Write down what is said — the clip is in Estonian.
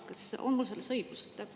Kas mul on õigus?